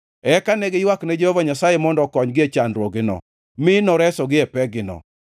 Eka ne giywakne Jehova Nyasaye mondo okonygi e chandruokgino, mi noresogi e pekgino.